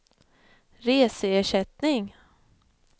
reseersättning